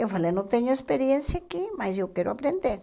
Eu falei, não tenho experiência aqui, mas eu quero aprender.